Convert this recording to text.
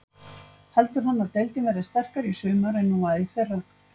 Heldur hann að deildin verði sterkari í sumar en hún var í fyrra?